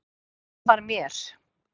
Hvað hann var mér.